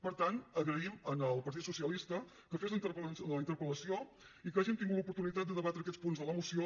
per tant agraïm al partit socialista que fes la interpel·lació i que hàgim tingut l’oportunitat de debatre aquests punts de la moció